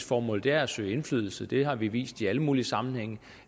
formål er at søge indflydelse det har vi vist i alle mulige sammenhænge